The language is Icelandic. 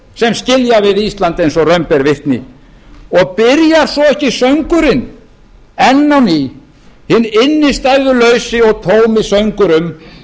sem skilja við ísland eins og raun ber vitni og byrjar svo ekki söngurinn enn á ný hinn innstæðulausi og tómi söngur um